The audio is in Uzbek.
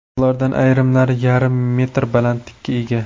Ulardan ayrimlari yarim metr balandlikka ega.